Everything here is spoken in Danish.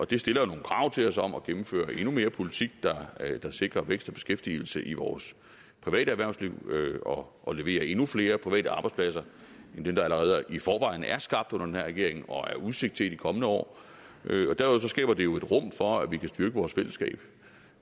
det stiller jo nogle krav til os om at gennemføre endnu mere politik der sikrer vækst og beskæftigelse i vores private erhvervsliv og leverer endnu flere private arbejdspladser end dem der allerede i forvejen er skabt under den her regering og er udsigt til i de kommende år derudover skaber det jo et rum for at vi kan styrke vores fællesskab